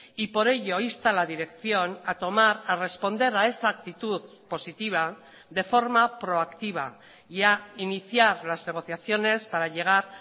y por ello insta a la dirección a tomar a responder a esa actitud positiva de forma proactiva y a iniciar las negociaciones para llegar